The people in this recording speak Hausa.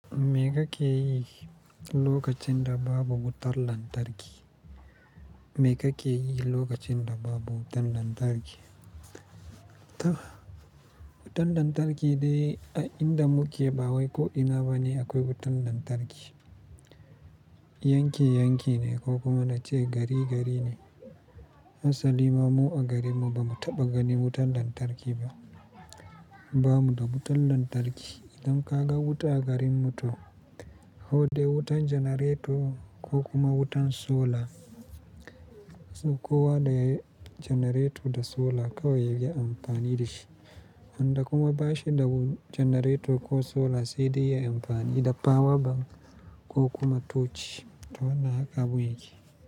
Me kake yi lokacin da babu wutar lantarki? Me kake yi lokacin da babu wutan lantarki? Wutan lantarki dai a inda muke ba wai ko ina bane akwai wutan lantarki. Yanki yankine ko kuma na ce gari gari ne. Hasali ma mu a garin mu ba mu taɓa gani wutan lantarki ba. Ba mu da wutan lantarki. Idan ka ga wuta a garin mu to, ko dai wutan janareto ko kuma wutan sola. Kowa da janareto da sola kawai yake amfani da shi. Wanda kuma bashi da janareto ko sola sai dai ya yi amfani da power bank ko kuma tochi. Wannan haka abun yake.